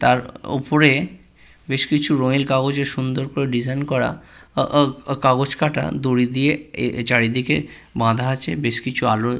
তার ওপরে বেশ কিছু রঙিন কাগজে সুন্দর করে ডিসাইন করা আ-আ কাগজ কাটা দড়ি দিয়ে এ এ চারিদিকে বাঁধা আছে বেশ আলো--